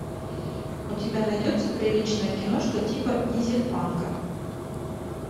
у тебя найдется приличная киношка типа дизель панка